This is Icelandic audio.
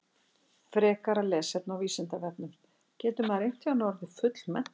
Frekara lesefni á Vísindavefnum Getur maður einhvern tímann orðið fullmenntaður?